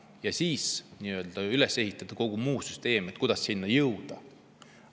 –, ja siis tuleks üles ehitada kogu muu süsteem, mille abil selleni jõuda.